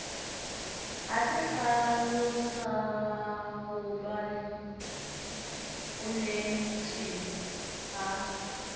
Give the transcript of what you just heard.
ho se hlalosahobane bonneteng ha